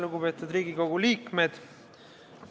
Lugupeetud Riigikogu liikmed!